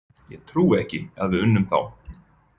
Ég trúi ekki að við unnum þá.